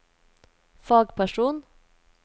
fagperson